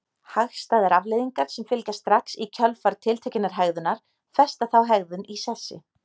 Hagstæðar afleiðingar sem fylgja strax í kjölfar tiltekinnar hegðunar festa þá hegðun í sessi.